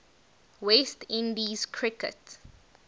west indies cricket